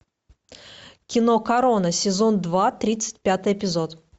кино корона сезон два тридцать пятый эпизод